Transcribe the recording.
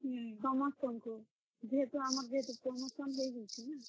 ହୁଁ, ସମସ୍ତଙ୍କୁ, ଯେହେତୁ ଆମର୍ promotion ହେଇଯାଇଛେ ନାଁ।